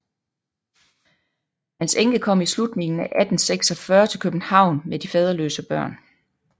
Hans enke kom i slutningen af 1846 til København med de faderløse børn